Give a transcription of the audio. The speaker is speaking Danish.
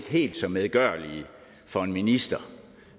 helt så medgørlige for en minister